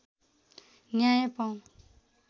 न्याय पाऊँ